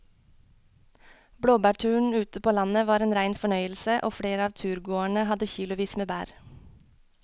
Blåbærturen ute på landet var en rein fornøyelse og flere av turgåerene hadde kilosvis med bær.